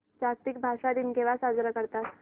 जागतिक भाषा दिन केव्हा साजरा करतात